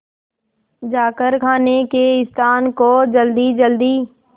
जाकर खाने के स्थान को जल्दीजल्दी